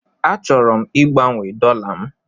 Achọrọ m igbanwe dollar m.